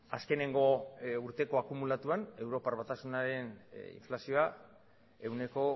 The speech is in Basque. azkeneko urteko akumulatuan europar batasunaren inflazioa ehuneko